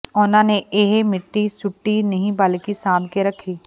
ਉਂਨ੍ਹਾਂ ਨੇ ਇਹ ਮਿੱਟੀ ਸੁੱਟੀ ਨਹੀਂ ਬਲਕਿ ਸਾਂਭ ਕੇ ਰੱਖੀ